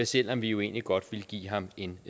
selv om vi jo egentlig godt ville give ham en